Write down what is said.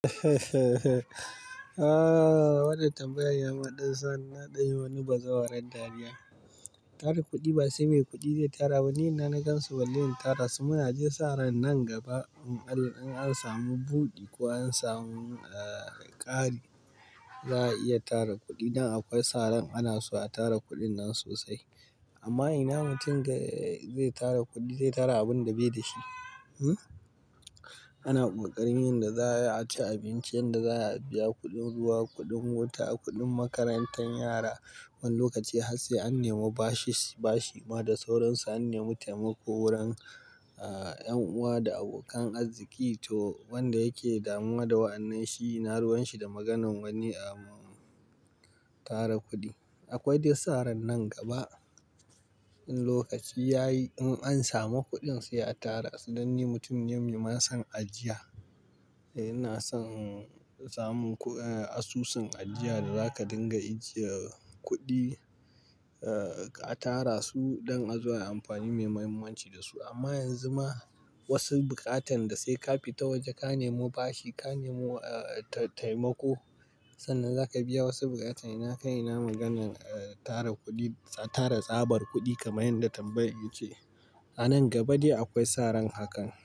Wannan tambayar ya maɗu sannan ɗaya wani bazawarar dariya. Tara kuɗi ba sai mai kuɗi zai tara ba, ni ina na gan su balle in tara su mana. Ji saran nan gaba in an samu buɗi ko an samu ƙari, za a iya tara kuɗi. Dan akwai sa ran ana so a tara kuɗin nan sosai. Amma ina mutum zai tara kuɗi, zai tara abin da bai da shi. Ana ƙoƙarin yanda za a ci abinci, yanda za a biya kuɗin ruwa, kuɗin wuta, kuɗin makarantan yara. Wani lokaci har sai an nemo bashi ma da sauransu, an nemi taimako wurin 'yan uwa da abokan arziki. To wanda yake damuwa da wa'annan, shi ina ruwan shi da maganan wani a tara kuɗi. Akwai dai sa ran nan gaba in lokaci ya yi, in an samu kuɗin sai a tara su dan ni mutum mai ma son ajiya. Ina son samun asusun ajiya da zaka dinga ajiye kuɗi ka tara su dan azo ayi amfani mai muhimmanci da su. Amma yanzu ma wasu buƙatan da sai ka fita waje, ka nemo bashi, ka nemo taimako sannan zaka biya wasu buƙatan. Ina kai ina maganan tara tsabar kuɗi kamar yanda tambayan ya ce. A nan gaba dai akwai sa ran hakan.